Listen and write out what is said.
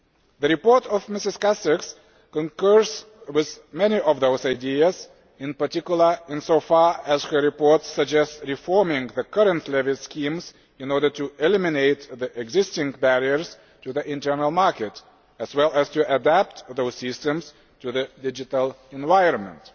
The report by MsCastex concurs with many of those ideas, in particular in so far as her report suggests reforming the current levy schemes in order to eliminate the existing barriers to the internal market, as well as to adapt those systems to the digital environment.